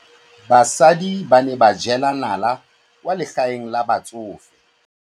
Basadi ba ne ba jela nala kwaa legaeng la batsofe.